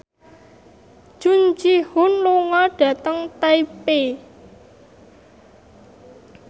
Jung Ji Hoon lunga dhateng Taipei